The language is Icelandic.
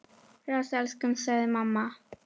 Bless elskan! sagði mamma.